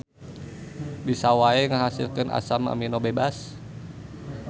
Bisa wae ngahasilkeun asam amino bebas.